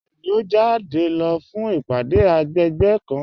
Bẹẹni, o jáde lọ fún ìpádé agbègbè kàn.